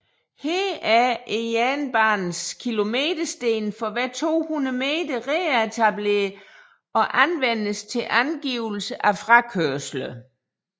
Her er jernbanens kilometersten for hver 200 m retableret og anvendes til angivelse af frakørsler